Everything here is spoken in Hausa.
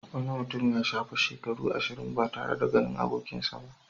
Wani mutum ya shafe shekaru ashirin ba tare da ganin abokinsa ba.